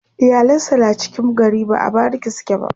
iyalan sa na cikin gari ba a bariki suke ba